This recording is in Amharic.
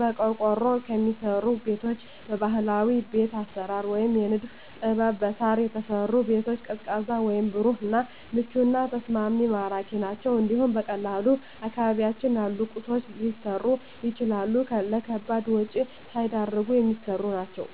በቆርቆሮ ከሚሰሩ ቤቶች በባህላዊ ቤት አሰራር ወይም የንድፍ ጥበብ በሳር የተሰሩ ቤቶች ቀዝቃዛ ወይም ብሩህ እና ምቹና ተስማሚ ማራኪ ናቸው እንዲሁም በቀላሉ አካባቢያችን ባሉ ቁሶች ሊሰሩ የሚችሉ ለከባድ ወጭ ሳይዳርጉ የሚሰሩ ናቸው።